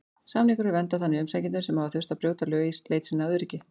Samningurinn verndar þannig umsækjendur sem hafa þurft að brjóta lög í leit sinni að öryggi.